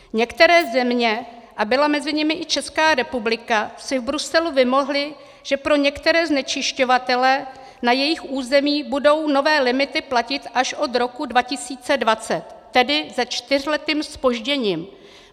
Některé země, a byla mezi nimi i Česká republika, si v Bruselu vymohly, že pro některé znečišťovatele na jejich území budou nové limity platit až od roku 2020, tedy se čtyřletým zpožděním.